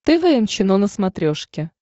тэ вэ эм чено на смотрешке